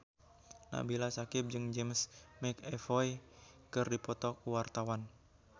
Nabila Syakieb jeung James McAvoy keur dipoto ku wartawan